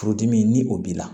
Furudimi ni o b'i la